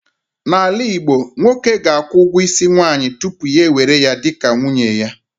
N'ala Igbo, nwoke ga-akwụ ugwo isi nwaanyị tupu ya ewere ya dị ka nwunye ya